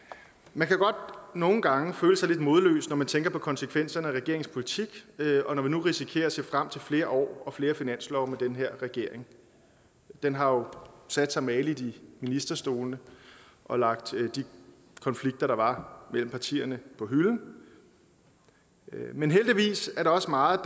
man kan godt nogle gange føle sig lidt modløs når man tænker på konsekvenserne af regeringens politik og når vi nu risikerer at se frem til flere år og flere finanslove med den her regering den har jo sat sig mageligt i ministerstolene og lagt de konflikter der var mellem partierne på hylden men heldigvis er der også meget